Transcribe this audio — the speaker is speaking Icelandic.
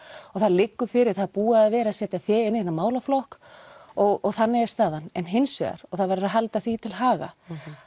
og það liggur fyrir það er búið að vera setja fé inn í þennan málaflokk og þannig er staðan en hins vegar og það verður að halda því til haga